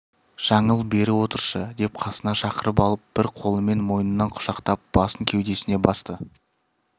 жаңыл бері отыршы деп қасына шақырып алып бір қолымен мойнынан құшақтап басын кеудесіне басты